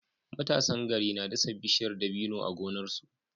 Matasan gari na dasa bishiyar dabino a gonarsu